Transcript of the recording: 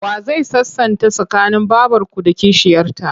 Wa zai sasanta tsakanin babarku da kishiyarta?